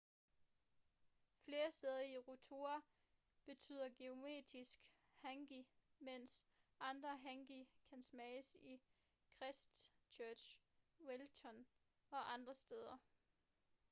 flere steder i rotorua tilbyder geotermisk hangi mens andre hangi kan smages i christchurch wellington og andre steder